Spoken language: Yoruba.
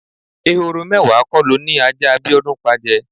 Ehoro mé̩wàá ko lo ni ajá Bíó̩dún pa je̩?